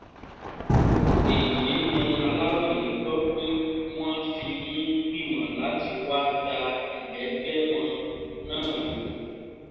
èyí ni aláròye gbọ́ pé wọ́n fi ń gbìmọ̀ láti wáá da ìléègbẹ́mọ náà rú